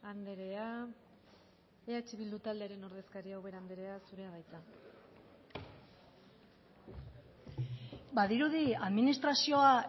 andrea eh bildu taldearen ordezkaria ubera andrea zurea da hitza badirudi administrazioa